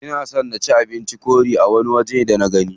Ina son na ci abincin korea a wani waje da nagani.